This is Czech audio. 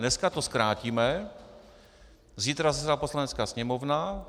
Dneska to zkrátíme, zítra zasedá Poslanecká sněmovna.